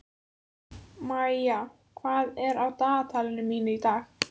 Maía, hvað er á dagatalinu mínu í dag?